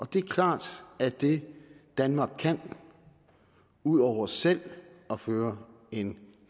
det er klart at det danmark kan ud over selv at føre en